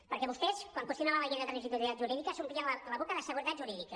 perquè vostès quan qüestionaven la llei de transitorietat jurídica s’omplien la boca de seguretat jurídica